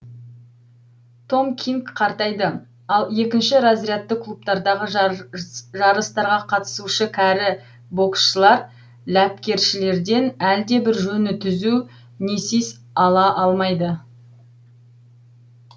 том кинг қартайды ал екінші разрядты клубтардағы жарыстарға қатысушы кәрі боксшылар ләпкершілерден әлдебір жөні түзу несис ала алмайды